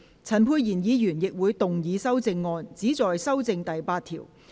陳沛然議員亦會動議修正案，旨在修正第8條。